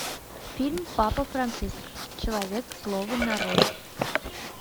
фильм папа франциск человек слова нарой